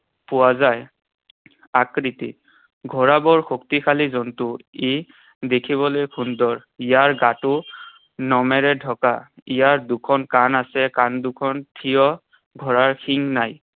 পোৱা যায়। আকৃতি। ঘোঁৰা বৰ শক্তিশালী জন্তু। ই দেখিবলৈ সুন্দৰ। ইয়াৰ গাটো নোমেৰে ঢকা। ইয়াৰ দুখন কাণ আছে। কাণ দুখন থিয়। ঘোঁৰাৰ শিং নাই।